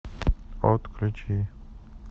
отключи